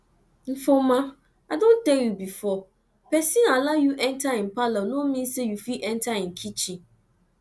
ifeoma i don tell you before person allow you enter im parlour no mean say you fit enter im kitchen